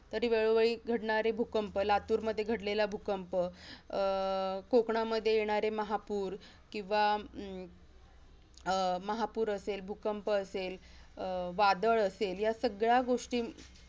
कधी वेळोवेळी घडणारे भूकंप लातूरमध्ये घडलेला भूकंप अह कोकणामध्ये येणारे महापूर किंवा हम्म अह महापूर असेल, भूकंप असेल, अह वादळ असेल या सगळ्यागोष्टी